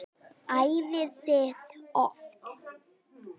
Æfið þið oft?